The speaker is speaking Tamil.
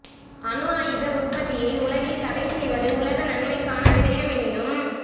அணு ஆயுத உற்பத்தியை உலகில் தடை செய்வது உலக நன்மைக்கான விடயமெனினும்